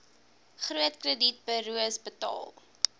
groot kredietburos betaal